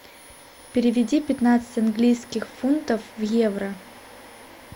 переведи пятнадцать английских фунтов в евро